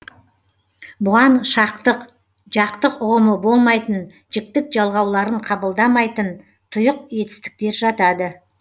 бұған шақтық жақтық ұғымы болмайтын жіктік жалғауларын қабылдамайтын тұйық етістіктер жатады